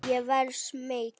Ég verð smeyk.